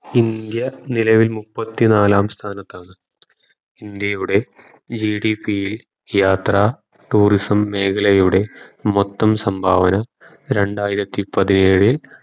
India നിലവിൽ മുപ്പത്തിനാലാം സ്ഥാനത്താണ് India യുടെ ഇൽ യാത്ര tourism മേഖലയുടെ മൊത്തം സംഭാവന രണ്ടായിരത്തി പത്തിയേഴിൽ